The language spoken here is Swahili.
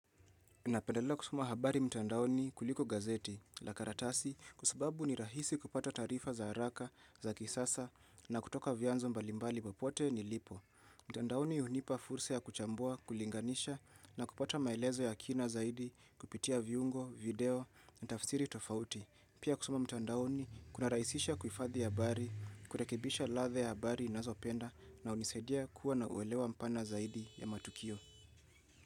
Napendelea kusuma habari mtuandaoni kuliko gazeti la karatasi kusababu ni rahisi kupata tarifa za haraka za kisasa na kutoka vyanzo mbalimbali bapote ni lipo. Mtandaoni unipa fursa ya kuchambua, kulinganisha na kupata maelezo ya kina zaidi kupitia viungo, video na tafsiri tofauti. Pia kusuma mtuandaoni kuna rahisisha kufadhi ya habari, kurekibisha ladhe ya habari ninazopenda na unisedia kuwa na uelewa mpana zaidi ya matukio.